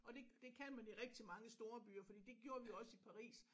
Og det det kan man i rigtig mange storbyer fordi det gjorde vi også i Paris